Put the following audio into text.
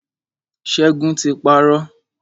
Ṣẹ́gun ti parọ́.